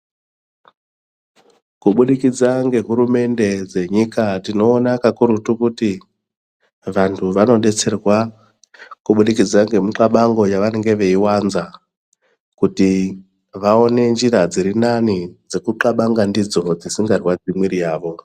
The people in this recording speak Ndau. Kuburikidza ngehurumende dzenyuka tinoona kakurutu kuti vantu vanodetserwa kubudikidza nemuxabango yavanenge veiwanza kuti vaone njira dzirinani dzekuxabanga ndidzo dzisingarwadzi mwiri yawo.